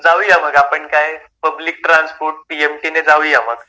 जाऊया मग आपण काय पब्लिक ट्रान्सपोर्ट पीएमटी ने जाऊया मग.